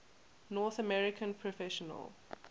north american professional